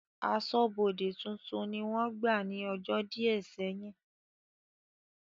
Aṣọ́bọdè tuntun ni wọ́n gbà ní ọjọ́ díẹ̀ sẹ́yìn